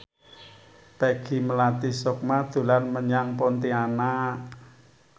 Peggy Melati Sukma dolan menyang Pontianak